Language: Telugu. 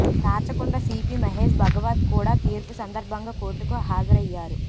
రాచకొండ సీపీ మహేష్ భగవత్ కూడా తీర్పు సందర్భంగా కోర్టుకు హాజరయ్యారు